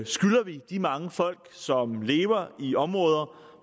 skylder vi de mange folk som lever i områder